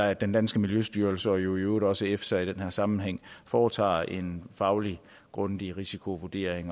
at den danske miljøstyrelse og i øvrigt også efsa i den her sammenhæng foretager en faglig grundig risikovurdering